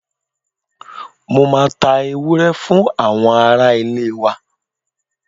Mo máa ta ewúrẹ́ fún àwọn araá-ilé wa.